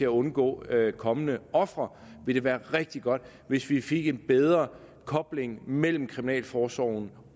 undgå kommende ofre vil det være rigtig godt hvis vi fik en bedre kobling mellem kriminalforsorgen